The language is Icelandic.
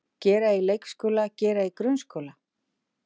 Gera í leikskóla Gera í grunnskóla